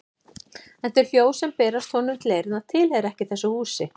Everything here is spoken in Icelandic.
En þau hljóð sem berast honum til eyrna tilheyra ekki þessu húsi.